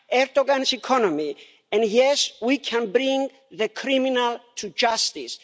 Erdoğan's economy and, yes, we can bring the criminals to justice.